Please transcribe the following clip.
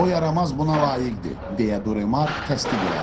O yaramaz buna layiqdir, deyə Duremar təsdiq elədi.